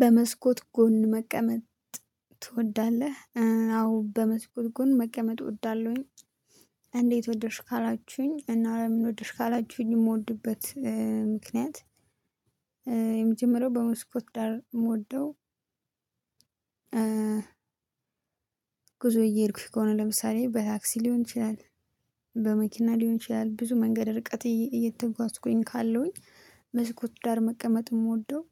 በመስኮት ጎን መቀመጥ ትወዳለህ? አዎ በመስኮት ጎን መቀመጥ እወዳለሁኝ። እንዴት ወደድሽ ካላችሁኝ እና ለምን ወደድሽ ካላችሁኝ? እምወድበት ምክንያት። የመጀመሪያው በመስኮት ዳር እምወደው። ጉዞ እየሄድኩኝ ከሆነ ለምሳሌ በታክሲ ሊሆን ይችላል። በመኪና ሊሆን ይችላል ብዙ መንገድ ርቀት እየተጓዝኩኝ ካለሁኝ መስኮት ዳር መቀመጥ የምወደው።